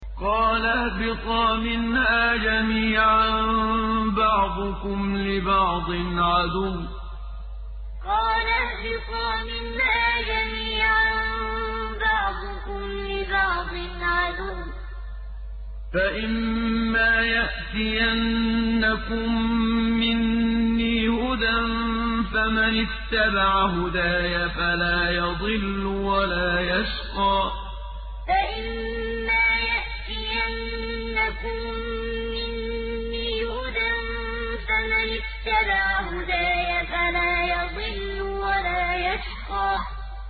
قَالَ اهْبِطَا مِنْهَا جَمِيعًا ۖ بَعْضُكُمْ لِبَعْضٍ عَدُوٌّ ۖ فَإِمَّا يَأْتِيَنَّكُم مِّنِّي هُدًى فَمَنِ اتَّبَعَ هُدَايَ فَلَا يَضِلُّ وَلَا يَشْقَىٰ قَالَ اهْبِطَا مِنْهَا جَمِيعًا ۖ بَعْضُكُمْ لِبَعْضٍ عَدُوٌّ ۖ فَإِمَّا يَأْتِيَنَّكُم مِّنِّي هُدًى فَمَنِ اتَّبَعَ هُدَايَ فَلَا يَضِلُّ وَلَا يَشْقَىٰ